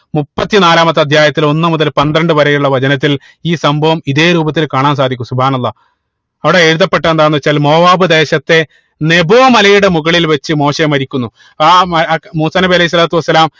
മുപ്പതിനാലാമത്തെ അധ്യായത്തിൽ ഒന്ന് മുതൽ പന്ത്രണ്ട് വരെ ഉള്ള വചനത്തിൽ ഈ സംഭവം ഇതേ രൂപത്തിൽ കാണാൻ സാധിക്കും അള്ളാഹ് അവിടെ എഴുതപ്പെട്ടത് എന്താണെന്ന് വെച്ചാൽ മോവ്വാപ് ദേശത്തെ നെബോ മലയുടെ മുകളിൽ വെച്ച് മോശ മരിക്കുന്നു ആ ഏർ മൂസാ നബി അലൈഹി സ്വലാത്തു വസ്സലാം